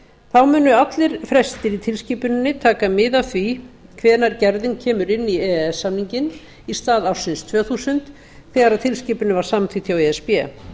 þá munu allir frestir í tilskipuninni taka mið af því hvenær gerðin kemur inn í e e s samninginn í stað ársins tvö þúsund þegar tilskipunin var samþykkt hjá e s b